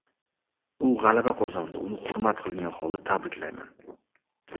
U g‘alaba qozondi, uni hurmat qilgan holda tabriklayman.